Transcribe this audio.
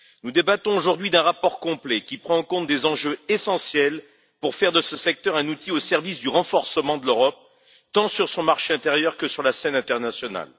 Nous débattons aujourd'hui d'un rapport complet qui prend en compte des enjeux essentiels pour faire de ce secteur un outil au service du renforcement de l'Europe, tant sur son marché intérieur que sur la scène internationale.